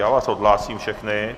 Já vás odhlásím všechny.